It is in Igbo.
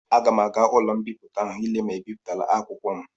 Aga m aga ụlọ mbipụta ahụ ile ma ebipụtala akwụkwọ m.